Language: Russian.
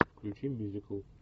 включи мюзикл